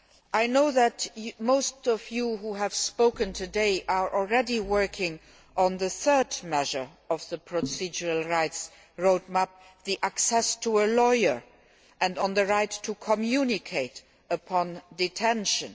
I know that most of you who have spoken today are already working on the third measure of the procedural rights road map, the access to a lawyer, and on the right to communicate upon detention.